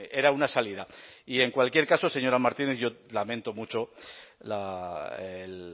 era una salida y en cualquier caso señora martínez yo lamento mucho el